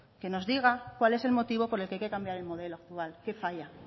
que nos diga cuál es el motivo por el que hay que cambiar el modelo actual qué falla